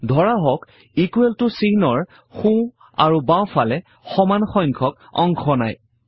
ধৰা হওক ইকোৱেল ত চিহ্নৰ সোঁ আৰু বাওঁফালে সমান সংখ্যক অংশ নাই